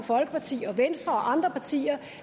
venstre og andre partier